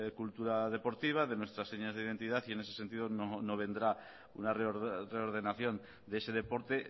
cultura deportiva de nuestras señas de identidad y en ese sentido no vendrá una reordenación de ese deporte